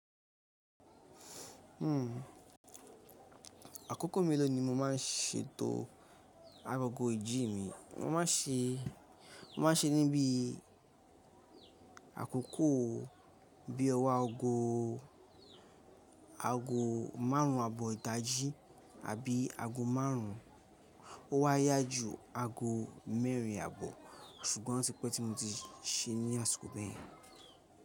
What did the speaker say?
Àkókò mélòó ni mo má ń ṣe tó aro kò ìjì mí mo ma se, mo ma se níbí àkókò bí i ọwọ́ aago, aago márùn-ún àbọ̀ ìdájí àbí aago márùn-ún. Ó wa yá ju aago mẹ́rin àbọ̀. Ṣùgbọ́n tí pẹ́ tí mo ti se ní àsìkò bẹ́ẹ̀ yẹn.